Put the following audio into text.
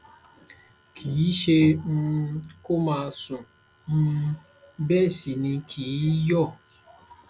kì í ṣẹ um kó má sùn um bẹẹ sì ni kì í yó